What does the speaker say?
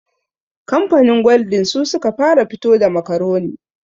Kamfanin gwaldin su suka fara fito da makaroni